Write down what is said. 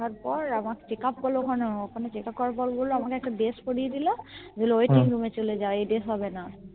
দেখার পর আমার Checkup করলো ওখানেও ওখানে Checkup করার পর বললো আমাকে একটা Dress পরিয়ে দিলো বললো Waiting Room এ চলে যাও Dress হবেনা